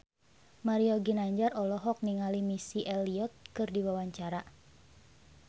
Mario Ginanjar olohok ningali Missy Elliott keur diwawancara